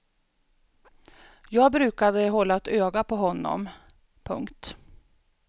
Jag brukade hålla ett öga på honom. punkt